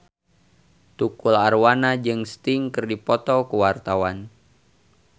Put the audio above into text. Tukul Arwana jeung Sting keur dipoto ku wartawan